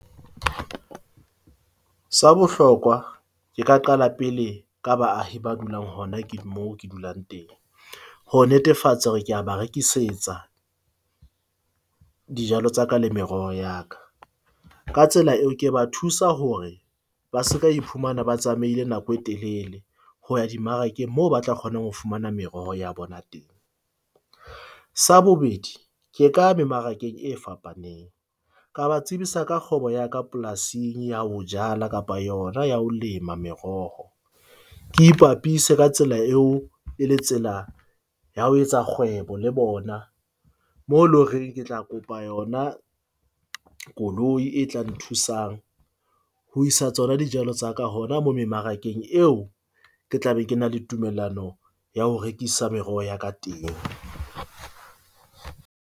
Sa bohlokwa ke ka qala pele ka baahi ba dulang hona ke mo ke dulang teng. Ho netefatsa hore ke a ba rekisetsa dijalo tsa ka le meroho ya ka ka tsela eo, ke ba thusa hore ba se ka iphumana ba tsamaile nako e telele, ho ya dimmarakeng moo ba tla kgona ho fumana meroho ya bona teng. Sa bobedi ke ka ya mmarakeng e fapaneng. Ka ba tsebisa ka kgwebo ya ka polasing ya ho jala kapa yona ya ho lema meroho. Ke ipapise ka tsela eo e le tsela ya ho etsa kgwebo le bona. Mo loreng ke tla kopa yona koloi e tla nthusang ho isa tsona dijalo tsa ka. Hona mo memarakeng eo ke tla be ke na le tumellano ya ho rekisa meroho ya ka teng.